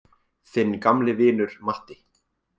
Þinn gamli vinur Matti.